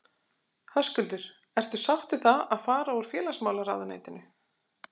Höskuldur: Ertu sátt við það að fara úr félagsmálaráðuneytinu?